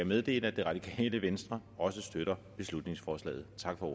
meddele at det radikale venstre også støtter beslutningsforslaget tak for